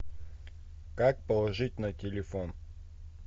как положить на телефон